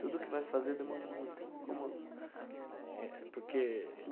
Tudo que vai fazer demora muito como. É, porque.